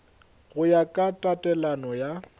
go ya ka tatelano ya